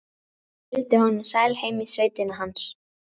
Fylgdi honum sæl heim í sveitina hans.